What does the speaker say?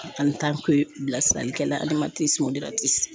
An bɛ taa ko bilasirali kɛla adamasiniw de la